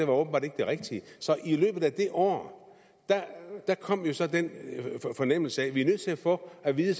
var åbenbart ikke det rigtige så i løbet af det år kom jo så den fornemmelse af at vi er nødt til at få at vide